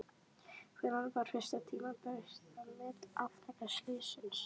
Hvenær var fyrst tímabært að meta afleiðingar slyssins?